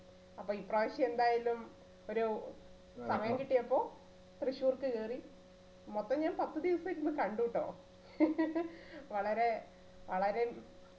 അപ്പൊ ഇപ്രാവശ്യം എന്തായാലും ഒരു സമയം കിട്ടിയപ്പോ തൃശൂർക്ക് കേറി മൊത്തം ഞാൻ പത്തുദിവസം ഇരുന്നു കണ്ടുട്ടോ വളരെ വളരെ